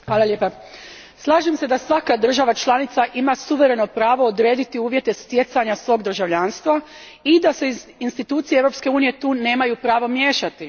Gospodine predsjedavajući, slažem se da svaka država članica ima suvereno pravo uvjete stjecanja svog državljanstva i da se institucije Europske unije tu nemaju pravo miješati.